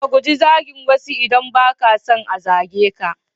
Ka guji zagin wasu idan ba ka son a zage ka.